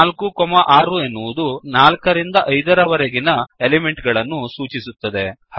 4 6 ಎನ್ನುವುದು 4 ರಿಂದ 5 ರವರೆಗಿನ ಎಲಿಮೆಂಟಗಳನ್ನು ಸೂಚಿಸುತ್ತದೆ